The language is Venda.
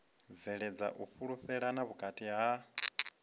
bveledza u fhulufhelana vhukati ha